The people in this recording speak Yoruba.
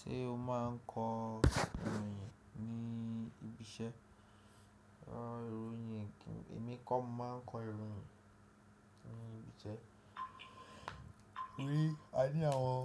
Ṣé o máa ń kọ ìròyìn ní ibi iṣẹ́? Rárá, ìròyìn èmi kọ́ máa ń kọ ìròyìn ní ibi iṣẹ́. Ní ayé àwọn